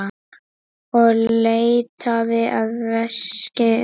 Og leitaði að veski sínu.